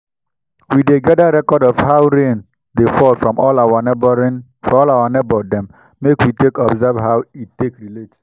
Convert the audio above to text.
we dey gadir record of how rain dey fall from all our neighbour dem make we take observe how e take relate.